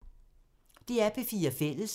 DR P4 Fælles